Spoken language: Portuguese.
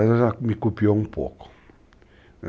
O Paulo César já me copiou um pouco.